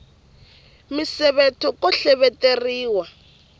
misevetho ko hleveteriwa